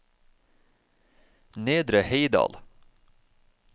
Nedre Heidal